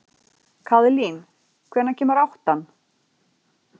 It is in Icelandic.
Kaðlín, hvenær kemur áttan?